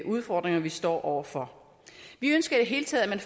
udfordringer vi står over for vi ønsker i det hele taget at man